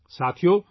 ساتھیو ،